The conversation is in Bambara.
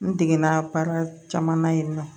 N degana baara caman na yen nɔ